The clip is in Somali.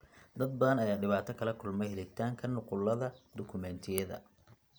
Dad badan ayaa dhibaato kala kulma helitaanka nuqullada dukumeentiyada.